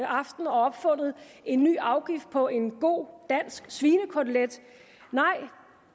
aften og opfundet en ny afgift på en god dansk svinekotelet nej